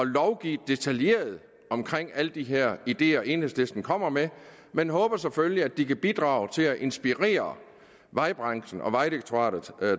lovgive detaljeret om alle de her ideer som enhedslisten kommer med men håber selvfølgelig at de kan bidrage til at inspirere vejbranchen og vejdirektoratet